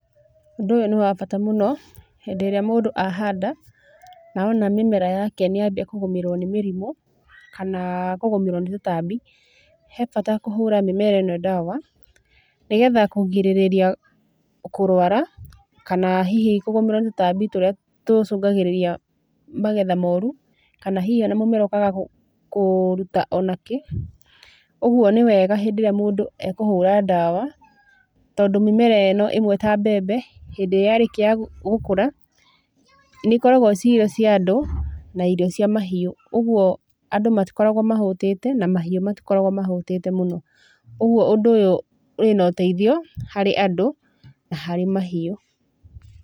Ũndũ ũyũ nĩ wa bata mũno hĩndĩ ĩrĩa mũndũ ahanda na ona mĩmera yake nĩ yambia kũgũmĩrwo nĩ mĩrimũ kana kũgũmĩrwo nĩ tũtambi. He bata kũhũra mĩmera ĩno ndawa nĩgetha kũgirĩrĩria kũrũara, kana hihi kũgũmĩrwo nĩ tũtambi tũrĩa tũcũngagĩrĩria magetha moru. Kana hihi, ona mũmera ũkaaga kũruta ona kĩ. Ũguo nĩ wega hĩndĩ ĩrĩa mũndũ ekũhũra dawa tondũ mĩmera ĩno ĩmwe ta mbembe hĩndĩ ĩrĩa ya rĩkia gũkũra nĩ ikoragũo ci irio cia andũ na irio cia mahiũ. Ũguo andũ matikoragũo mahũtĩte na mahiũ matikoragũo mahũtĩte mũno. Ũguo ũndũ ũyũ wĩna ũteithio harĩ andũ na harĩ mahiũ.